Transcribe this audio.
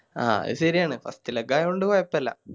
ആ അ ശെരിയാണ് First leg ആയോണ്ട് കൊയപ്പല്ല